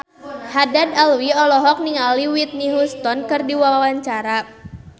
Haddad Alwi olohok ningali Whitney Houston keur diwawancara